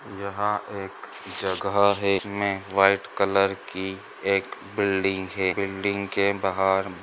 यहाँ एक जहा एक में वाइट कलर की एक बिल्डिंग है। बिल्डिंग के बहार--